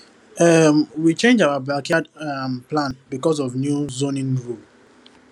um we change our backyard um plan because of new zoning rule